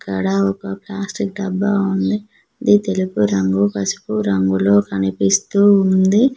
ఇక్కడ ఒక ప్లాస్టిక్ డబ్బా ఉంది అది తెలుపు రంగు పసుపు రంగులో కనిపిస్తూ ఉంది.